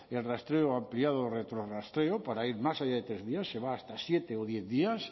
el rastreo ampliado retrorrastreo para ir más allá de tres días se va hasta siete o diez días